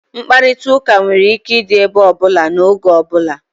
Nkparịta ụka nwere ike ịdị ebe ọbụla na n'oge ọbula